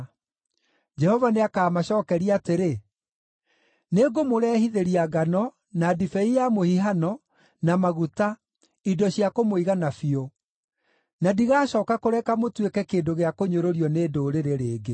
Jehova nĩakamacookeria atĩrĩ: “Nĩngũmũrehithĩria ngano, na ndibei ya mũhihano, na maguta, indo cia kũmũigana biũ; na ndigacooka kũreka mũtuĩke kĩndũ gĩa kũnyũrũrio nĩ ndũrĩrĩ rĩngĩ.